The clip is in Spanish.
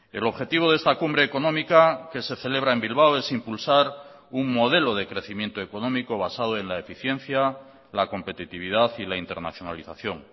el objetivo de esta cumbre económica que se celebra en bilbao es impulsar un modelo de crecimiento económico basado en la eficiencia la competitividad y la internacionalización